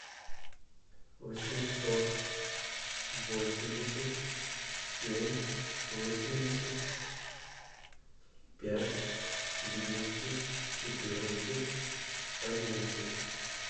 восемьсот восемьдесят семь восемьдесят пять двести четырнадцать одиннадцать